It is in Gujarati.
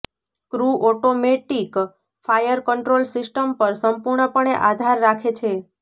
crew automatic fire control system પર સંપૂર્ણપણે આધાર રાખે છે